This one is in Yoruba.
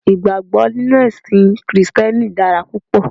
Ìgbàgbó nínú èsìn krìsténi dára púpò